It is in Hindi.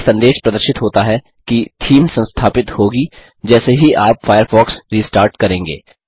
एक संदेश प्रदर्शित होता है कि थीम संस्थापित होगी जैसे ही आप फ़ायरफ़ॉक्स रिस्टार्ट करेंगे